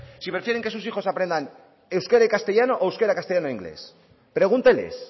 si prefieren que sus hijos aprendan euskera y castellano o euskera castellano e inglés pregúnteles